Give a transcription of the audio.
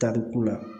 Tariku la